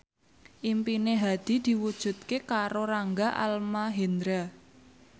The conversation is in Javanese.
impine Hadi diwujudke karo Rangga Almahendra